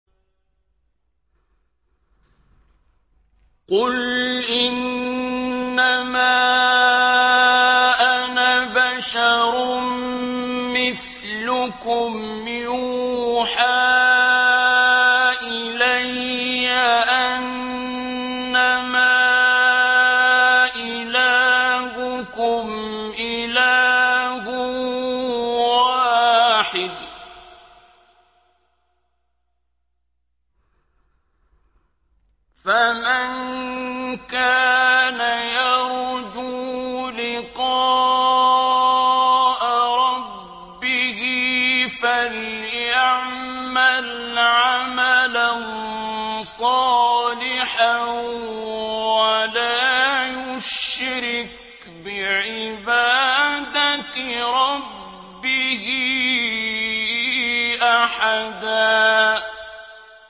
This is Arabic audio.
قُلْ إِنَّمَا أَنَا بَشَرٌ مِّثْلُكُمْ يُوحَىٰ إِلَيَّ أَنَّمَا إِلَٰهُكُمْ إِلَٰهٌ وَاحِدٌ ۖ فَمَن كَانَ يَرْجُو لِقَاءَ رَبِّهِ فَلْيَعْمَلْ عَمَلًا صَالِحًا وَلَا يُشْرِكْ بِعِبَادَةِ رَبِّهِ أَحَدًا